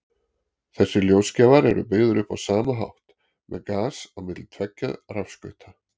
Þessir ljósgjafar eru byggðir upp á sama hátt, með gas á milli tveggja rafskauta.